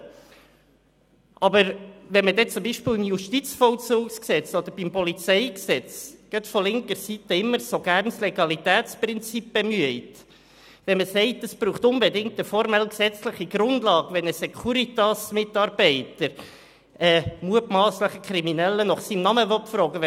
Im Zusammenhang mit dem Justizvollzugsgesetz (JVG) oder dem Polizeigesetz (PolG) wird jedoch gerade von linker Seite immer gerne das Legalitätsprinzip bemüht, indem man sagt, es brauche unbedingt eine formelle gesetzliche Grundlage, wenn ein Securitas-Mitarbeiter einen mutmasslich Kriminellen nach seinem Namen fragen will.